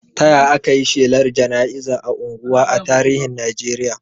Ta yaya aka yi shelar jana'iza a unguwa a tarihin Najeriya?